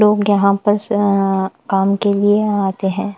लोग यहाँ पर स काम के लिए आते हैं।